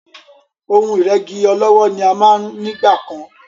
Ohun ìrẹ́gí ọlọ́wọ́ ni a máa ń nígbà kan.